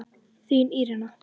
Þín Írena.